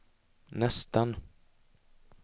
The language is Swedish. nästan